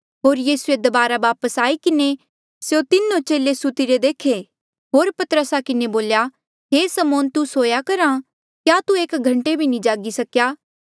होर यीसूए दबारा वापस आई किन्हें स्यों तीनो चेले सुत्तिरे देखे होर पतरसा किन्हें बोल्या हे समौन तू सोया करहा क्या तू एक घंटे भी जागी नी सकेया